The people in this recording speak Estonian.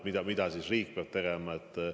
Mida nüüd riik peab tegema?